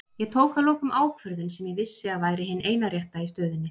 Ég tók að lokum ákvörðun sem ég vissi að væri hin eina rétta í stöðunni.